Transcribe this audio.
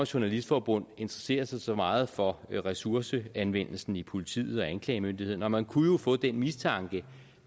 journalistforbund interesserer sig så meget for ressourceanvendelsen i politiet og hos anklagemyndigheden og man kunne jo få den mistanke